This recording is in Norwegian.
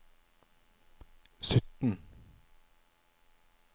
sytten